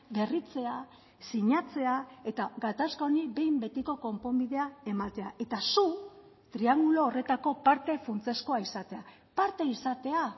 berritzea sinatzea eta gatazka honi behin betiko konponbidea ematea eta zu triangulo horretako parte funtsezkoa izatea parte izatea